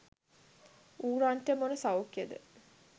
ඌරන්ට මොන සෞඛ්‍යයද?